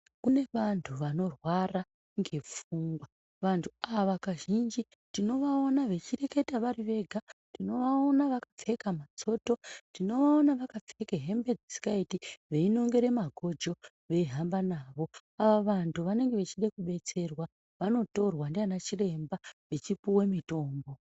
Kune vantu vanorwara ngepfungwa vantu ava kazhinji tinovaona vechireketa vari vega. Tinovaona vakapfeka matsoto tinovaona vakapfeka hembe dzisikaiti veinongere magojo veihamba navo. Ava vantu vanenge vechide kubetserwa vanotorwa ndiana chiremba vechipuve mitombo.